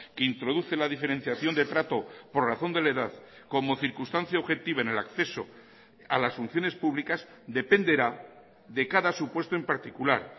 que introduce la diferenciación de trato por razón de la edad como circunstancia objetiva en el acceso a las funciones públicas dependerá de cada supuesto en particular